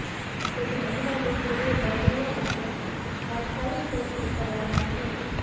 જોકે મહિલા ડૂબી હોઇ તરવૈયા મારફત તાત્કાલિક શોધખોળ શરૂ કરવામાં આવી હતી